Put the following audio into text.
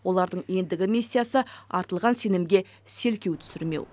олардың ендігі миссиясы артылған сенімге селкеу түсірмеу